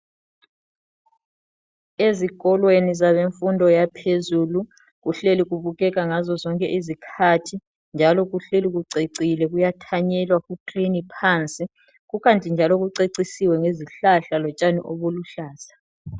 Ezikolweni zabemfundo yaphezulu kuhleli kubukeka ngazo zonke izikhathi njalo kuhleli ku cecile kuyathanyelwa ku clean phansi kukanti njalo kucecisiwe ngezihlahla lotshani obuluhlaza